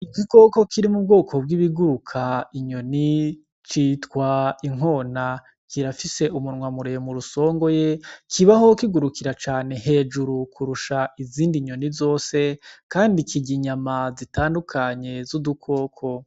Igikoko kiri mu bwoko bw'ibiguruka inyoni citwa inkona, kirafise umunwa muremure usongoye kibaho kugurukira cane hejuru kurusha izindi nyoni zose kandi kirya inyama zitandukanye z'udukoko.